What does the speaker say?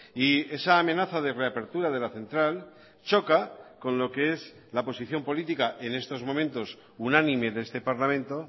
y esa amenaza de reapertura de la central choca con lo que es la posición política n estos momentos unánime de este parlamento